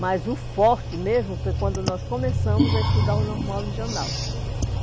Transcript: Mas o forte mesmo foi quando nós começamos a estudar o normal regional.